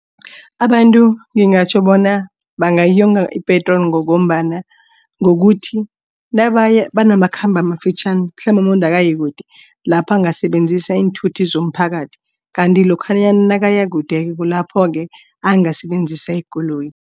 Abantu ngingatjho bona bangayonga ipetroli ngombana ngokuthi nabaya banamakhambo amafitjhani. Mhlambe umuntu akayikude lapho angasebenzisa iinthuthi zomphakathi kanti lokha nakayakude kulapho-ke angasebenzisa ikoloyi.